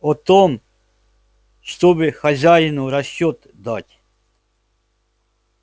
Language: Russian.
о том чтобы хозяину расчёт дать